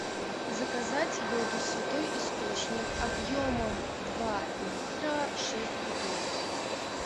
заказать воду святой источник объемом два литра шесть бутылок